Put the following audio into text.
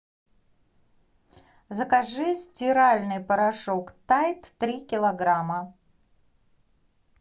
закажи стиральный порошок тайд три килограмма